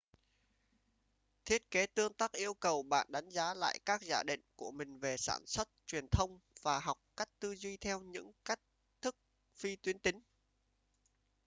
thiết kế tương tác yêu cầu bạn đánh giá lại các giả định của mình về sản xuất truyền thông và học cách tư duy theo những cách thức phi tuyến tính